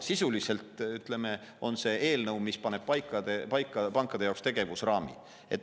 Sisuliselt paneb see eelnõu pankade jaoks paika tegevusraamid.